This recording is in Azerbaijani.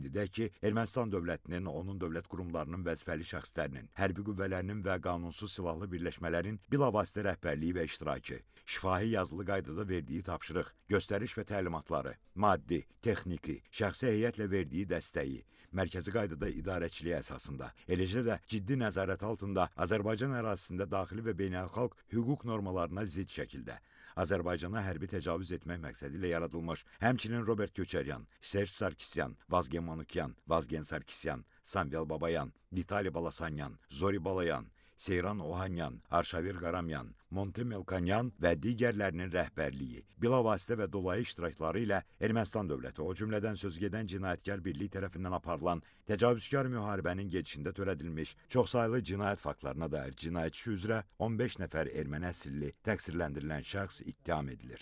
Qeyd edək ki, Ermənistan dövlətinin, onun dövlət qurumlarının vəzifəli şəxslərinin, hərbi qüvvələrinin və qanunsuz silahlı birləşmələrin bilavasitə rəhbərliyi və iştirakı, şifahi yazılı qaydada verdiyi tapşırıq, göstəriş və təlimatları, maddi, texniki, şəxsi heyətlə verdiyi dəstəyi, mərkəzi qaydada idarəçiliyə əsasında, eləcə də ciddi nəzarət altında Azərbaycan ərazisində daxili və beynəlxalq hüquq normalarına zidd şəkildə Azərbaycana hərbi təcavüz etmək məqsədi ilə yaradılmış, həmçinin Robert Köçəryan, Serj Sarkisyan, Vazgen Manukyan, Vazgen Sarkisyan, Samvel Babayan, Vitali Balasanyan, Zori Balayan, Seyran Ohanyan, Arşavir Qaramyan, Monte Melkonyan və digərlərinin rəhbərliyi, bilavasitə və dolayı iştirakları ilə Ermənistan dövləti, o cümlədən sözügedən cinayətkar birliyi tərəfindən aparılan təcavüzkar müharibənin gedişində törədilmiş çoxsaylı cinayət faktlarına dair cinayət işi üzrə 15 nəfər erməni əsilli təqsirləndirilən şəxs ittiham edilir.